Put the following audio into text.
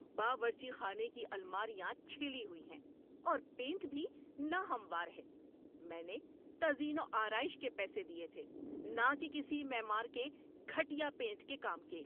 باورچی خانے کی الماریاں چھلی ہوئی ہیں، اور پینٹ بھی ناہموار ہے۔ میں نے تزئین و آرائش کے پیسے دیے تھے، نہ کہ کسی معمار کے گھٹیا پینٹ کے کام کے!